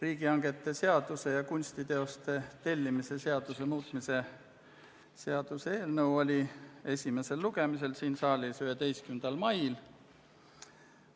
Riigihangete seaduse ja kunstiteoste tellimise seaduse muutmise seaduse eelnõu oli esimesel lugemisel siin saalis 11. mail.